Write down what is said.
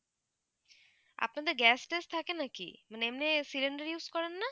আপনাদের gas -টাশ থাকে নাকি? মানে এমনি cylinder use করেন না